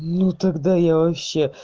ну тогда я вообще